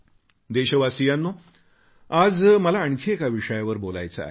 देशवासीयांनो आज मला आणखी एका विषयावर बोलायचे आहे